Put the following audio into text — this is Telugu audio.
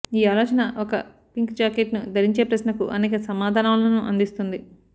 ఈ ఆలోచన ఒక పింక్ జాకెట్ను ధరించే ప్రశ్నకు అనేక సమాధానాలను అందిస్తుంది